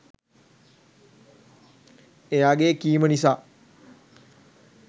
එයාගේ කීම නිසා